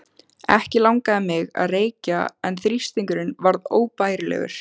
Ekki langaði mig að reykja en þrýstingurinn var óbærilegur.